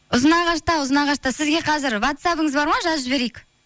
ұзынағашта сізге қазір ватсабыңыз бар ма жазып жіберейік